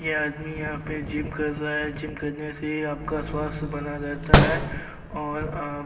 यह आदमी यहां पर जिम कर रहा है। जिम करने से आपका स्वस्थय बना रहता है और आप --